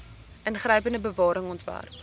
ingrypende bewaring ontwerp